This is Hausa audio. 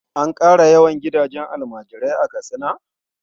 An ƙara yawan gidajen almajirai a Katsina?